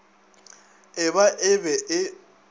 e ba e be e